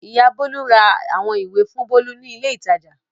Ìyá Bólú ra àwọn ìwé fún Bólú ní ilé-ìtajà.